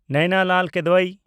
ᱱᱮᱭᱱᱟ ᱞᱟᱞ ᱠᱤᱫᱣᱟᱭ